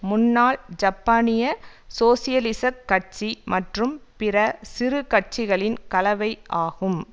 முன்னாள் ஜப்பானிய சோசியலிசக் கட்சி மற்றும் பிற சிறு கட்சிகளின் கலவை ஆகும்